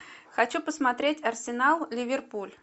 хочу посмотреть арсенал ливерпуль